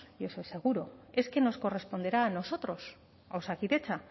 y eso es seguro es que nos corresponderá a nosotros a osakidetza